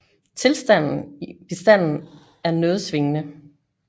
Tilstanden i bestanden er noget svingende